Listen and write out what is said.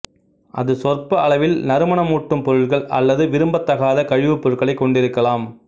அது சொற்ப அளவில் நறுமணமூட்டும் பொருட்கள் அல்லது விரும்பத்தகாத கழிவுப்பொருட்களையும் கொண்டிருக்கலாம்